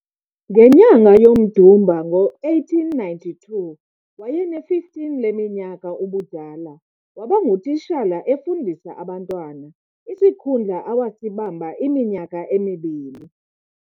Ngenyanga yomDumba ngo-1892, wayene-15 leminyaka ubudala, wabangutishala efundisa abantwana, isikhundla awasibamba iminyaka emibini.